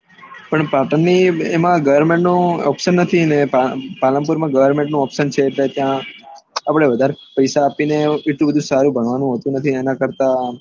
પણ પાટણ ની એમાં goverment નો option નથી ને પાટણ માં પાલનપુર મા goverment નો option છે એટલે ત્યાં આપડે વધારે પૈસા આપીને એટલું બધું સારું ભણવાનું હોતું નથી ને એના કરતા